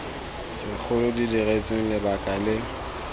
segolo di diretsweng lebaka le